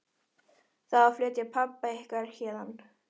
Það á að flytja pabba ykkar héðan.